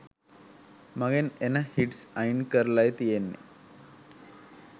මගෙන් එන හිට්ස් අයින් කරලායි තියෙන්නේ.